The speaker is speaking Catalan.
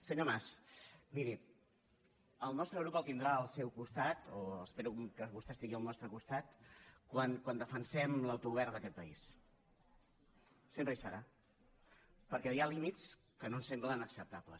senyor mas miri el nostre grup el tindrà al seu costat o espero que vostè estigui al nostre costat quan defensem l’autogovern d’aquest país sempre hi serà perquè hi ha límits que no ens semblen acceptables